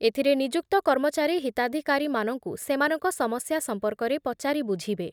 ଏଥିରେ ନିଯୁକ୍ତ କର୍ମଚାରୀ ହିତାଧିକାରୀମାନଙ୍କୁ ସେମାନଙ୍କ ସମସ୍ୟା ସଂପର୍କରେ ପଚାରି ବୁଝିବେ ।